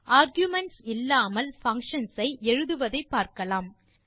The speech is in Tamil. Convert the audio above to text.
ஆர்குமென்ட்ஸ் இல்லாமல் பங்ஷன்ஸ் ஐ எழுதுவதை பார்க்கலாம்